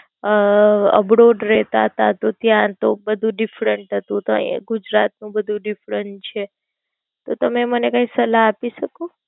અમ Abroad રેતાંતા ત્યાં તો બધું Different હતું તો ગુજરાત નું બધું Different છે. તો તમે મને કઈ સલાહ આપી શકો?